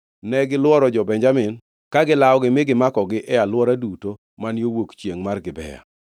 Negilworo jo-Benjamin, ka gilawogi mi gimakogi e alwora duto man yo wuok chiengʼ mar Gibea.